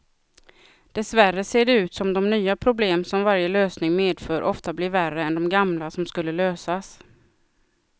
Dessvärre ser det ut som de nya problem som varje lösning medför ofta blir värre än de gamla som skulle lösas.